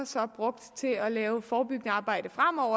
så er brugt til at lave forebyggende arbejde fremover